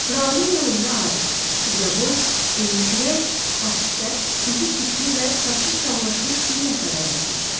Raulun yanında arıq, ucaboy, enlikürək, at sifət, üzü tüklü və saçı çallaşmış bir nəfər əyləşmişdi.